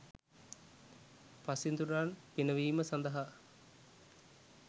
පසිඳුරන් පිනවීම සඳහා